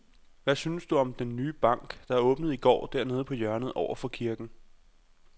Hvad synes du om den nye bank, der åbnede i går dernede på hjørnet over for kirken?